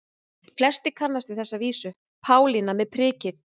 Flestir kannast við þessa vísu: Pálína með prikið